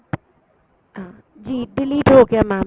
ਹਾਂ ਜੀ delete ਹੋ ਗਿਆ mam